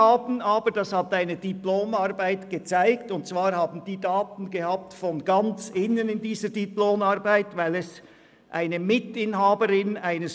Eine Mitarbeiterin eines Büros, das diese Hotels verkauft, konnte das anhand der Firmendaten in einer Diplomarbeit aufzeigen.